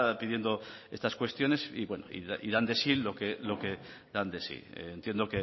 pidiendo estas cuestiones y bueno y dan de sí lo que dan de sí entiendo